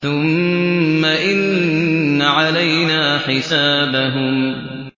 ثُمَّ إِنَّ عَلَيْنَا حِسَابَهُم